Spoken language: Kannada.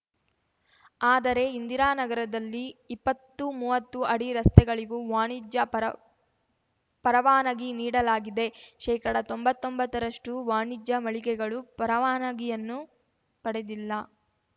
ಆದರೆ ಇಂದಿರಾ ನಗರದಲ್ಲಿ ಇಪ್ಪತ್ತುಮೂವತ್ತು ಅಡಿ ರಸ್ತೆಗಳಿಗೂ ವಾಣಿಜ್ಯ ಪರಪರವಾನಗಿ ನೀಡಲಾಗಿದೆ ಶೇಕಡತೊಂಬತ್ತೊಂಬತ್ತರಷ್ಟುವಾಣಿಜ್ಯ ಮಳಿಗೆಗಳು ಪರವಾನಗಿಯನ್ನು ಪಡೆದಿಲ್ಲ